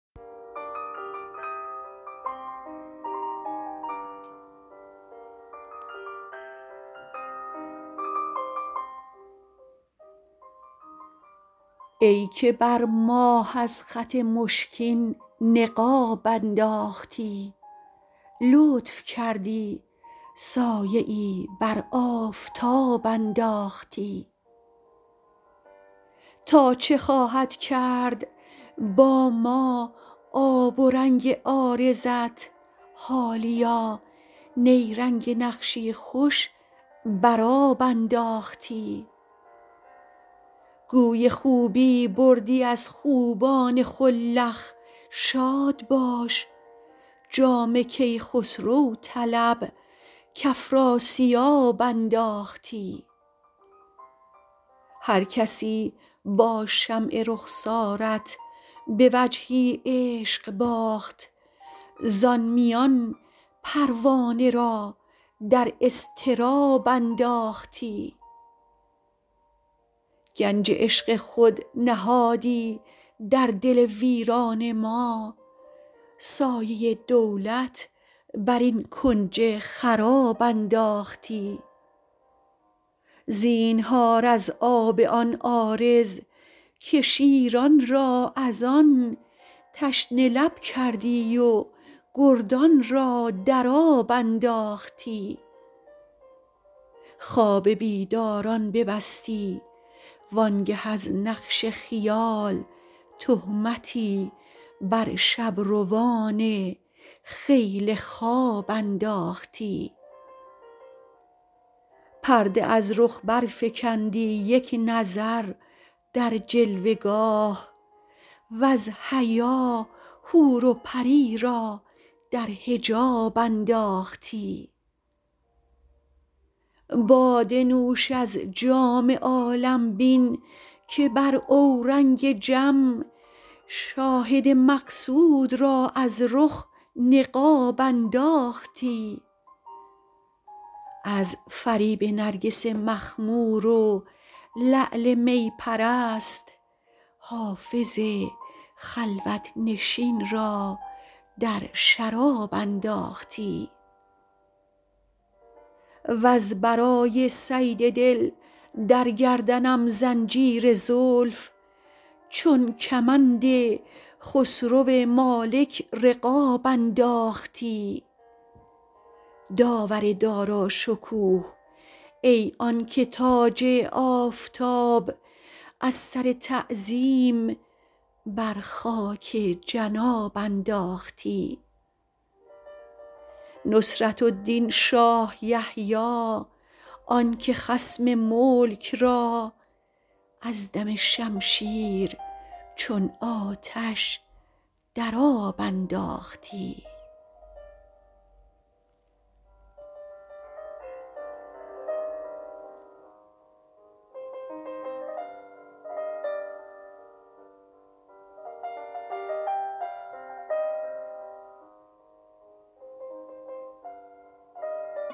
ای که بر ماه از خط مشکین نقاب انداختی لطف کردی سایه ای بر آفتاب انداختی تا چه خواهد کرد با ما آب و رنگ عارضت حالیا نیرنگ نقشی خوش بر آب انداختی گوی خوبی بردی از خوبان خلخ شاد باش جام کیخسرو طلب کافراسیاب انداختی هرکسی با شمع رخسارت به وجهی عشق باخت زان میان پروانه را در اضطراب انداختی گنج عشق خود نهادی در دل ویران ما سایه دولت بر این کنج خراب انداختی زینهار از آب آن عارض که شیران را از آن تشنه لب کردی و گردان را در آب انداختی خواب بیداران ببستی وآن گه از نقش خیال تهمتی بر شب روان خیل خواب انداختی پرده از رخ برفکندی یک نظر در جلوه گاه وز حیا حور و پری را در حجاب انداختی باده نوش از جام عالم بین که بر اورنگ جم شاهد مقصود را از رخ نقاب انداختی از فریب نرگس مخمور و لعل می پرست حافظ خلوت نشین را در شراب انداختی وز برای صید دل در گردنم زنجیر زلف چون کمند خسرو مالک رقاب انداختی داور داراشکوه ای آن که تاج آفتاب از سر تعظیم بر خاک جناب انداختی نصرة الدین شاه یحیی آن که خصم ملک را از دم شمشیر چون آتش در آب انداختی